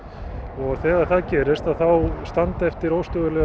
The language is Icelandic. og þegar það gerist að þá standa eftir óstöðugar